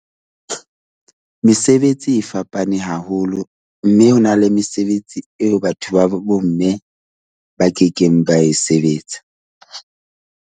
Mesebetsi e fapane haholo mme ho na le mesebetsi eo batho ba bomme ba kekeng ba e sebetsa.